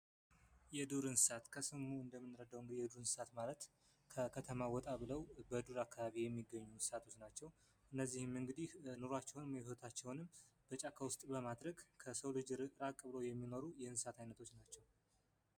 የዱር እንስሳት ከስሙ እንደምንረዳው የዱር እንስሳት ማለት ከከተማ ወጣ ብለው በዱር የሚኖሩ እንስሳቶች ናቸው። እነዚህም እንግዲህ ኑራቸውን ወይም ህይወታቸዉን በጫካ ውስጥ በማድረግ ከሰው ልጅ ራቅ ብለው የሚኖሩ የእንስሳት አይነቶች ናቸው።